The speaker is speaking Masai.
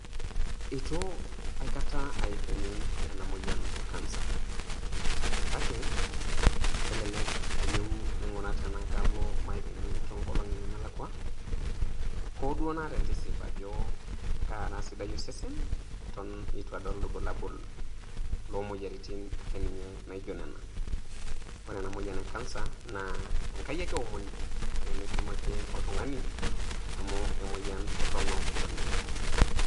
itu aikata aipimi ena moyian e kansa kake, kelelek alo maipimi toong'olong'i nemelakua hoo duo naata entisip ajo kaara sidai osesen eton itu adol irbulabul loo moyaritin ake ninye naijo nena. Kore ena moyian e kansa naa enkai ake eomoni peemetum ake oltung'ani amu emoyian torono oleng'.